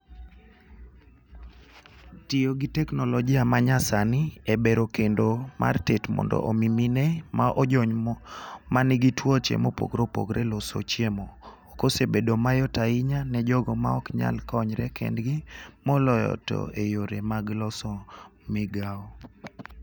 Tiyo gi teknolojia manya sani e bero kendo mar tet mondo omi mine ma ojony manigi tuoche mopogore loso chiemo .Kosebedo mayot ahinya ne jogo ma pok nyal konyre kendgi moloyo to e yore mag loso migago.